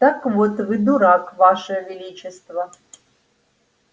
так вот вы дурак ваше величество